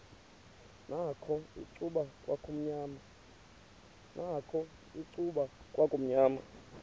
nakho icuba kwakumnyama